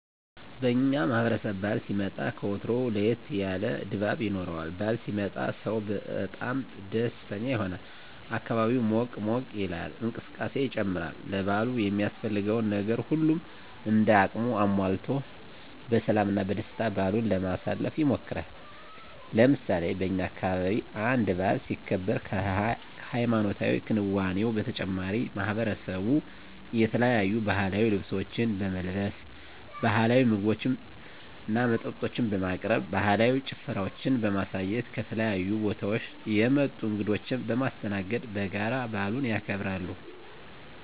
በእኛ ማህበረሰብ በዓል ሲመጣ ከወትሮው ለየት ያለ ድባብ ይኖረዋል። በዓል ሲመጣ ሰው በጣም ደስተኛ ይሆናል፣ አካባቢው ሞቅ ሞቅ ይላል፣ እንቅስቃሴ ይጨምራል፣ ለበዓሉ የሚያስፈልገውን ነገር ሁሉም እንደ አቅሙ አሟልቶ በሰላም እና በደስታ በዓሉን ለማሳለፍ ይሞክራል። ለምሳሌ በእኛ አካባቢ አንድ በዓል ሲከበር ከሀይማኖታዊ ክንዋኔው በተጨማሪ ማሕበረሰቡ የተለያዩ ባህላዊ ልብሶችን በመልበስ፣ ባህላዊ ምግቦችና መጠጦችን በማቅረብ፣ ባህላዊ ጭፈራዎችን በማሳየት፣ ከተለያዩ ቦታወች የመጡ እንግዶችን በማስተናገድ በጋራ በዓሉን ያከብራሉ።